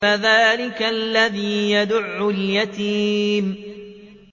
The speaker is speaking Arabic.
فَذَٰلِكَ الَّذِي يَدُعُّ الْيَتِيمَ